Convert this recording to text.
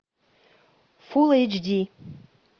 фул эйч ди